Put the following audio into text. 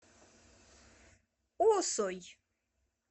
осой